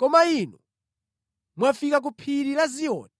Koma inu mwafika ku Phiri la Ziyoni,